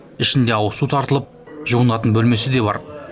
ішінде ауызсу тартылып жуынатын бөлмесі де бар